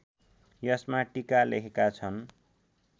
यसमा टीका लेखेका छन्